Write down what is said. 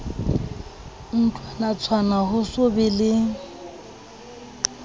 ntlwanatshwana ho so be le